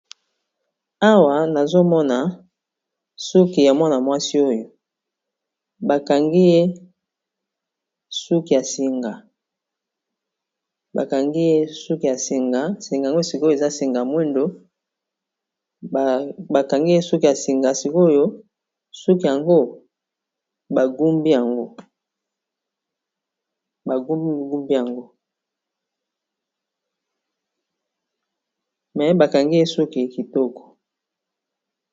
Awa nazomona suki ya mwana mwasi oyo ba bakangi ye suki ya singa, eza singa ya moindo, bakangi ye suki kitoko.